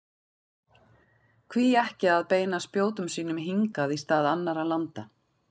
Hví ekki að beina spjótum sínum hingað í stað annarra landa?